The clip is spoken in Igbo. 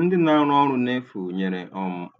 Ndị na-arụ ọrụ n'efu nyere